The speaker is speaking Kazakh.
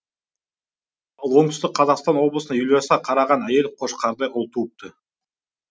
ал оңтүстік қазақстан облысында елу жеті жасқа қараған әйел қошқардай ұл туыпты